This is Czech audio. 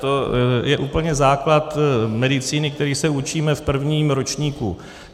To je úplně základ medicíny, který se učíme v prvním ročníku.